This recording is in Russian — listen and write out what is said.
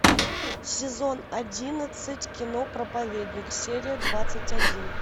сезон одиннадцать кино проповедник серия двадцать один